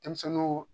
Denmisɛnninw